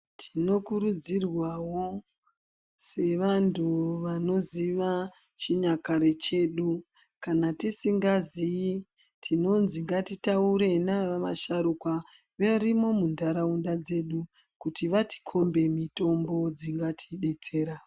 Tinokurudzirwa wo sevantu vanoziva chinyakare chedu. Kana tisingazii tinonzi ngatitaure nanavasharuka varimwo munharaunda dzedu kuti vatikhombe mitombo dzingatidetsera.